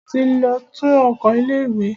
A ti lọ tú oko ilé ìwé.